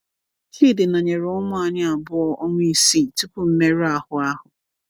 Chidi nọnyere ụmụ anyị abụọ, ọnwa isii tupu mmerụ ahụ ahụ.